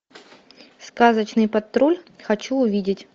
сказочный патруль хочу увидеть